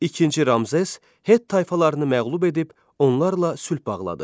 İkinci Ramzes Het tayfalarını məğlub edib, onlarla sülh bağladı.